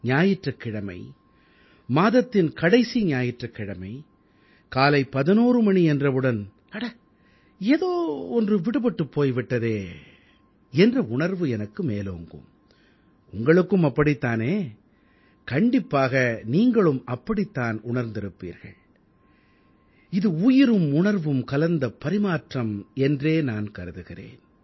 ஞாயிற்றுக் கிழமை மாதத்தின் கடைசி ஞாயிற்றுக் கிழமை காலை 11 மணி என்றவுடன் அட ஏதோ ஒன்று விடுபட்டுப் போய் விட்டதே என்ற உணர்வு எனக்கு மேலோங்கும் உங்களுக்கும் அப்படித் தானே கண்டிப்பாக நீங்களும் அப்படித் தான் உணர்ந்திருப்பீர்கள் இது உயிரும் உணர்வும் கலந்த பரிமாற்றம் என்றே நான் கருதுகிறேன்